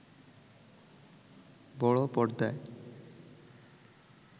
বড় পর্দায়